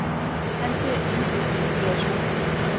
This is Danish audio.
Han ser ensidigt på situationen.